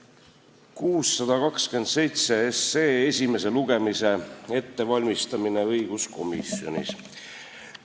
Annan ülevaate 627 SE esimese lugemise ettevalmistamisest õiguskomisjonis.